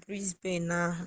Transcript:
brisbane ahụ